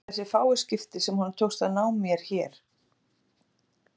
Man það í þessi fáu skipti sem honum tókst að ná mér hér.